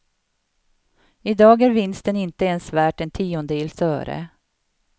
I dag är vinsten inte ens värt en tiondels öre.